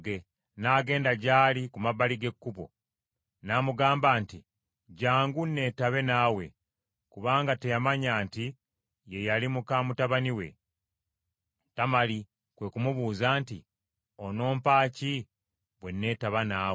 N’agenda gy’ali ku mabbali g’ekkubo, n’amugamba nti, “Jjangu, neetabe naawe,” kubanga teyamanya nti ye yali muka mutabani we. Tamali kwe ku mubuuza nti, “Onompa ki bwe neetaba naawe?”